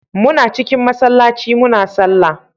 Muna cikin masallaci muna sallah